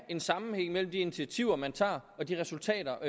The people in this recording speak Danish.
en sammenhæng mellem de initiativer man tager og de resultater